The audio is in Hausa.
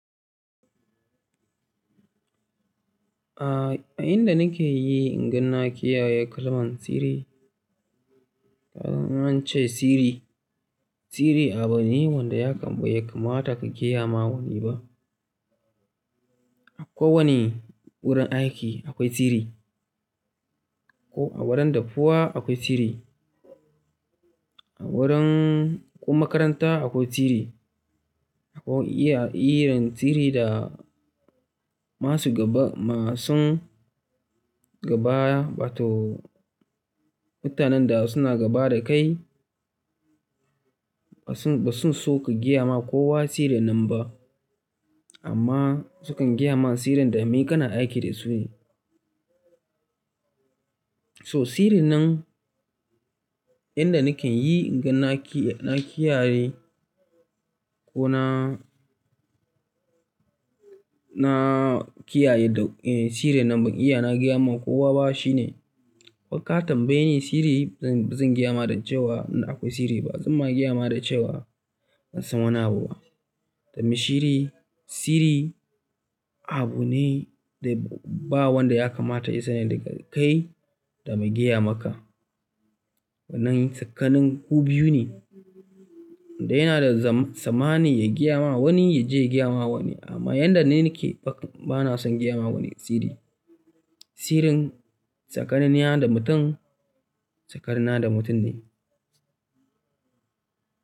A inda nake yi inganni na kiyaye kalman siri, an ce siri, siri abu ne wanda ya kam be kamata ka gaya ma wani ba. A kowane wurin aiki akwai siri, ko a wurin dafuwa akwai siri, a wurin ko makaranta akwai siri. Akwai iya yin siri da masu gaba, masu gaba ba to mutanen da suna gaba da kai. Ba su, ba su so ka gaya ma kowa tsirin nan ba. Amma sukan gaya mana tsirin da mai kana aiki da su ne. So tsirin nan inda nake yi inganni na kiyaye ko na, na kiyaye da tsirin nan ban iya na gaya ma kowa ba shine, ko ka tambaye ni siri zan, zan gaya ma da cewa akwai siri ba, zan ma gaya ma da cewa ban san wani abu ba. Domin siri, siri abu ne da ba wanda ya kamata ya san ya daga kai da mai gaya maka. Wannan tsakanin ku biyu ne. Inda yana da zama same ya gaya ma wani ya je ya gaya ma wani. Amma yanda ni nake ba, bana son gaya ma wani siri. Tsirin tsakanin ni da mutum, tsakanin na da mutum ne.